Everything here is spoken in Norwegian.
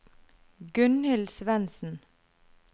Gunhild Svendsen